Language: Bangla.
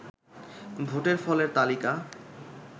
ভোটের ফলের তালিকা